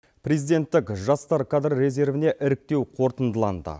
президенттік жастар кадр резервіне іріктеу қорытындыланды